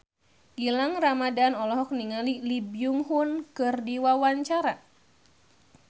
Gilang Ramadan olohok ningali Lee Byung Hun keur diwawancara